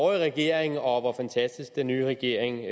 regering og om hvor fantastisk den nye regering